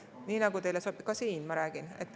Ka siin, ma räägin.